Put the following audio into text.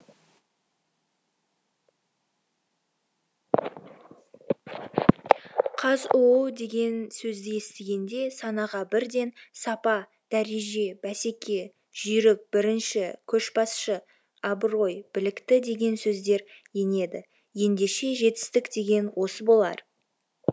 қазұу деген сөзді естігенде санаға бірден сапа дәреже бәсеке жүйрік бірінші көшбасшы абырой білікті деген сөздер енеді ендеше жетістік деген осы болар